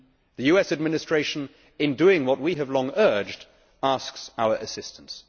The US Administration, in doing what we have long urged, asks our assistance.